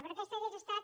però aquesta hauria estat